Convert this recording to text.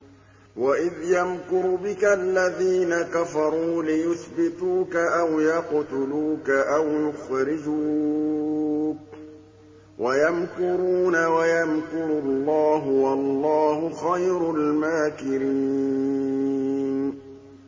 وَإِذْ يَمْكُرُ بِكَ الَّذِينَ كَفَرُوا لِيُثْبِتُوكَ أَوْ يَقْتُلُوكَ أَوْ يُخْرِجُوكَ ۚ وَيَمْكُرُونَ وَيَمْكُرُ اللَّهُ ۖ وَاللَّهُ خَيْرُ الْمَاكِرِينَ